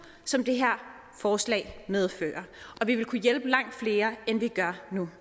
som det her forslag medfører og vi vil kunne hjælpe langt flere end vi gør nu